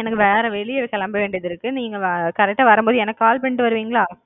எனக்கு வேற வெளிய கிளம்ப வேண்டியது இருக்கு நீங்க correct டா வரும்போது எனக்கு கால் பண்ணிட்டு வருவீங்களா?